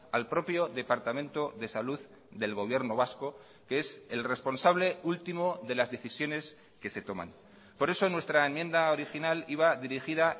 al propio departamento de salud del gobierno vasco que es el responsable último de las decisiones que se toman por eso nuestra enmienda original iba dirigida